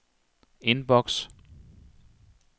indboks